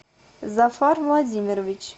зафар владимирович